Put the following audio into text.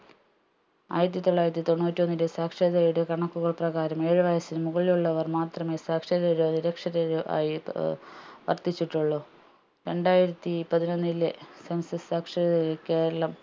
ആയിരത്തിത്തൊള്ളാരത്തി തൊണ്ണൂറ്റിഒന്നിൻെറ സാക്ഷരതയുടെ കണക്കുകൾ പ്രകാരം ഏഴ് വയസ്സിന് മുകളിൽ ഉള്ളവർ മാത്രമേ സാക്ഷരരോ നിരക്ഷരരോ ആയി ഏർ വർധിച്ചിട്ടുള്ളു രണ്ടായിരത്തി പതിനൊന്നിലെ സാംസ്വ സാക്ഷരരാ കേരളം